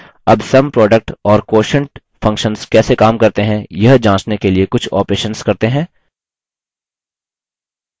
अब sum product और quotient functions कैसे sum करते हैं यह जाँचने के लिए कुछ operations करते हैं